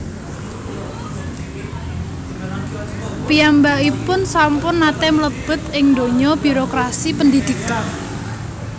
Piyambakipun sampun nate mlebet ing dunya birokrasi pendhidhikan